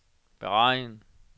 beregn